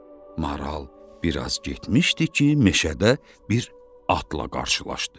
Maral biraz getmişdi ki, meşədə bir atla qarşılaşdı.